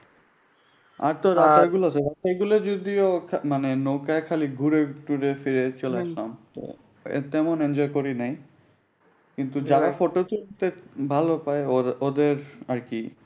আর তো রাস্তাগুলি যদিও মানি নৌকা খালি ঘুরে ফিরে ছলে আর কি তেমন enjoy করিনি।